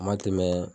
A ma tɛmɛ